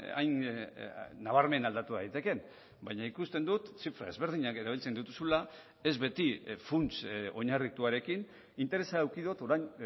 hain nabarmen aldatu daitekeen baina ikusten dut zifra ezberdinak erabiltzen dituzula ez beti funts oinarrituarekin interesa eduki dot orain